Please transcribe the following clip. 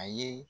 A ye